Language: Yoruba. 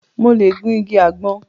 Mo lẹ̀ gun igi àgbọn